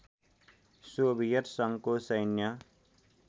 Soviet सङ्घको सैन्य